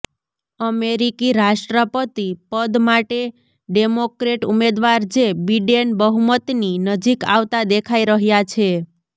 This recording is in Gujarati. અમેરિકી રાષ્ટ્રપતિ પદ માટે ડેમોક્રેટ ઉમેદવાર જે બિડેન બહુમતની નજીક આવતા દેખાઈ રહ્યા છે